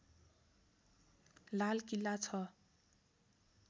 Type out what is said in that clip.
लालकिला छ